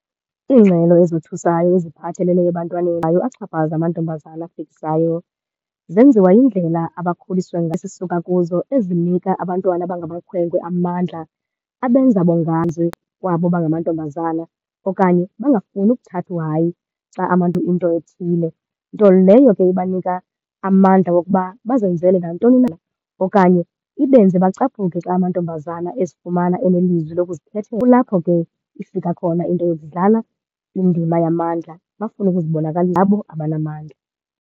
Iingxelo ezothusayo eziphathelele ebantwaneni axhaphaza amantombazana afikisayo zenziwa yindlela abakhuliswe, esisuka kuzo ezinika abantwana abangamakhwenkwe amandla, abenza kwabo bangamantombazana okanye bangafuni ukuthatha uhayi xa into ethile. Nto leyo ke ibanika amandla wokuba bazenzele nantoni na okanye ibenze bacaphuke xa amantombazana ezifumana enelizwi lokuzikhethela. Kulapho ke ifika khona into yokudlala indima yamandla bafune ngabo abanamandla.